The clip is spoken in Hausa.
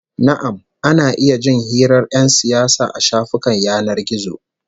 Na'am, ana iya jin hirar 'yan siyasa a shafukan yanar gizo